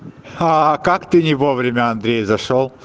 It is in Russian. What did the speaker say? аа как ты не вовремя андрей зашёл